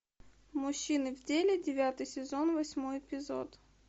мужчины в деле девятый сезон восьмой эпизод